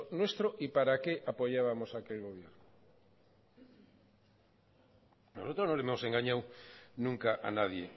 nuestro y para qué apoyábamos aquel gobierno nosotros no hemos engañado nunca a nadie